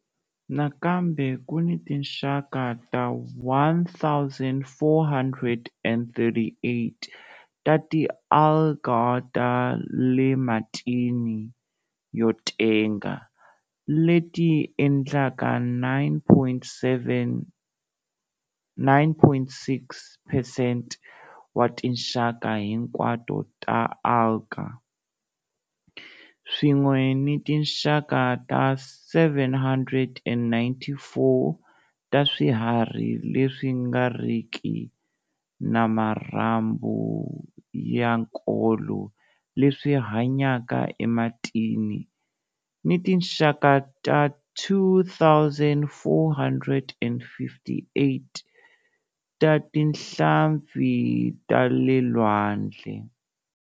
Nakambe ku ni tinxaka ta 1 438 ta ti-algae ta le matini yo tenga, leti endlaka 9.6 percent wa tinxaka hinkwato ta algae, swin'we ni tinxaka ta 794 ta swiharhi leswi nga riki na marhambu ya nkolo leswi hanyaka ematini ni tinxaka ta 2 458 ta tinhlampfi ta le lwandle.